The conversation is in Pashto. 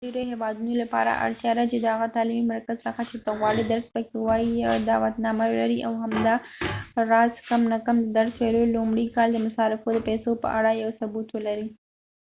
د ډیرو هیوادونو لپاره اړتیا ده چې د هغه تعلیمی مرکز څخه چې ته غواړې درس پکې ووایې یو دعوتنامه ولرې او همداراز کم نه کم د درس ویلو د لومړي کال د مصارفو د پیسو په اړه یو ثبوت ولرې